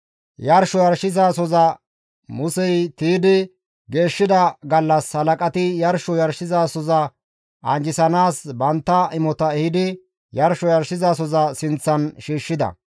Yarsho yarshizasoza Musey tiydi geeshshida gallas halaqati yarsho yarshizasoza anjjisanaas bantta imota ehidi yarsho yarshizasoza sinththan shiishshida.